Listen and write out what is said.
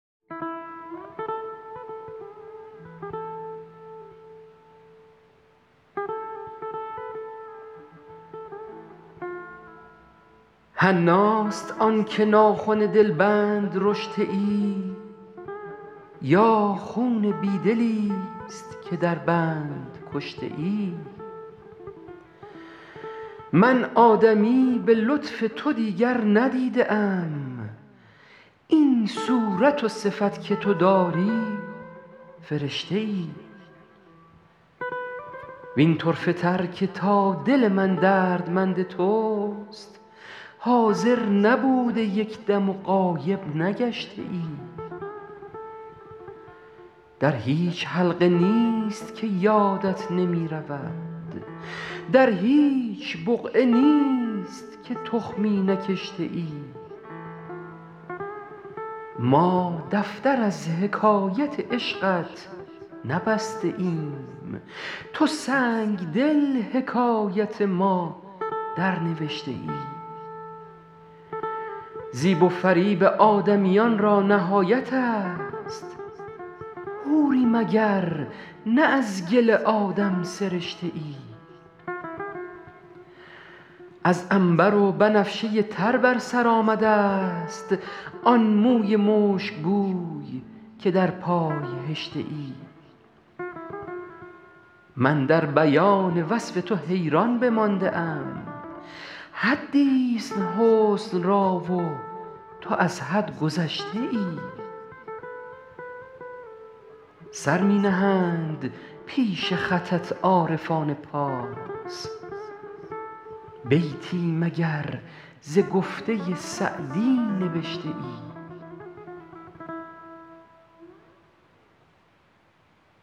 حناست آن که ناخن دلبند رشته ای یا خون بی دلیست که در بند کشته ای من آدمی به لطف تو دیگر ندیده ام این صورت و صفت که تو داری فرشته ای وین طرفه تر که تا دل من دردمند توست حاضر نبوده یک دم و غایب نگشته ای در هیچ حلقه نیست که یادت نمی رود در هیچ بقعه نیست که تخمی نکشته ای ما دفتر از حکایت عشقت نبسته ایم تو سنگدل حکایت ما درنوشته ای زیب و فریب آدمیان را نهایت است حوری مگر نه از گل آدم سرشته ای از عنبر و بنفشه تر بر سر آمده ست آن موی مشکبوی که در پای هشته ای من در بیان وصف تو حیران بمانده ام حدیست حسن را و تو از حد گذشته ای سر می نهند پیش خطت عارفان پارس بیتی مگر ز گفته سعدی نبشته ای